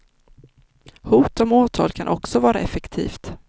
Hot om åtal kan också vara effektivt.